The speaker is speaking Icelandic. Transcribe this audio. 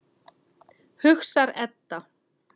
hugsar Edda.